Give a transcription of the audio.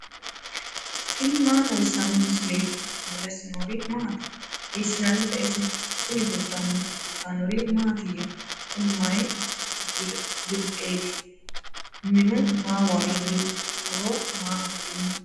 tini maa xawissanno misileeti ? mulese noori maati ? hiissinannite ise ? tini kultannori mattiya? Kunni mayi birixeetti? Minu maa woraanniho? horo maa affirinno?